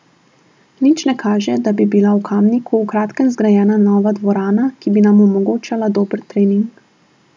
Nič ne kaže, da bi bila v Kamniku v kratkem zgrajena nova dvorana, ki bi nam omogočala dober trening.